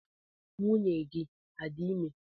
Nwunye gị adị ime?